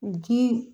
Ji